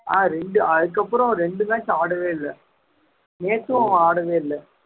ஆஹ் இரண்டு அதுக்கப்புறம் இரண்டு match ஆடவே இல்லை நேத்தும் ஆடவே இல்லை